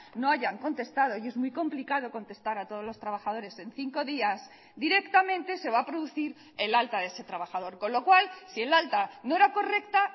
no hayan contestado y es muy complicado contestar a todos los trabajadores en cinco días directamente se va a producir el alta de ese trabajador con lo cual si el alta no era correcta